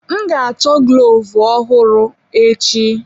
M ga-achọ glovu ọrụ ọhụrụ echi.